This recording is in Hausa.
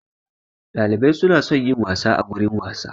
Dalibai su na son yin wasa a gurin wasa.